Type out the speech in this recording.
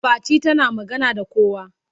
Fati tana magana da kowa.